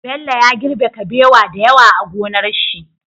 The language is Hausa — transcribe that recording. Bello ya girbe kabewa da yawa a gonar shi